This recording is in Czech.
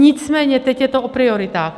Nicméně teď je to o prioritách.